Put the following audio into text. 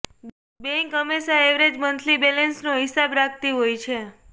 bank હંમેશા average monthly બેલેન્સનો હિસાબ રાખતી હોય છે